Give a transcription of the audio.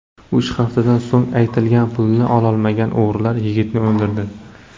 Uch haftadan so‘ng aytilgan pulni ololmagan o‘g‘rilar yigitni o‘ldirdi.